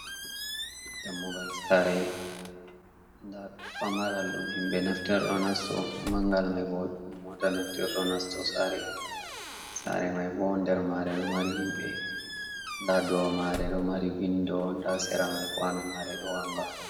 Dammugal saare ,ndaa famaral ɗum himɓe naftirto ɗo nasto ,mangal may bo moota naftirto, ɗo nasto saare may bo. Nder maare ɗo mari himɓe ,ndaa dow mare ɗo mari winndo, ndaa sera may kuwano maare ɗo wannga.